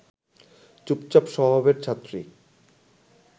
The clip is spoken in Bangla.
চুপচাপ স্বভাবের ছাত্রী